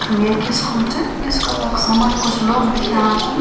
यखम एक स्कूल च स्कूल क समण कुछ लोग दिखेणा छिन।